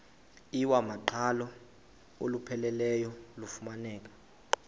iwamaqhalo olupheleleyo lufumaneka